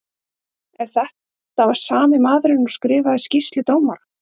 Er þetta sami maðurinn og skrifaði skýrslu dómara?